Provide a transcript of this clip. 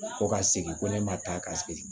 Ko ka segin ko ne ma taa k'a sigi